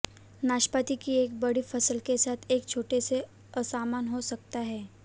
नाशपाती की एक बड़ी फसल के साथ एक छोटे से असमान हो सकता है